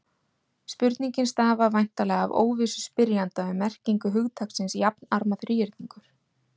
Spurningin stafar væntanlega af óvissu spyrjanda um merkingu hugtaksins jafnarma þríhyrningur.